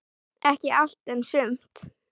Ekki allt, en sumt.